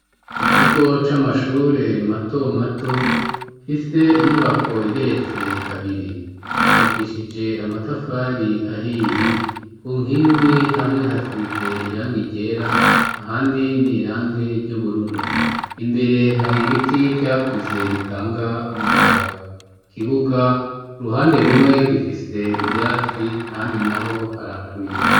Mu kigo c'amashure mato mato, afise inyubako igeretse kabiri. Yubakishije amatafari ahiye ku nkingi hamwe hasize irangi ryera ,ahandi n'irangi ry'ubururu. Imbere har'ibiti vyakuze bitanga umuyaga. Ikibuga k'uruhande rumwe, gifise ivyatsi, ahandi n'aho haraharuye.